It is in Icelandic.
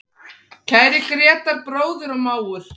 Kæri Grétar, bróðir og mágur.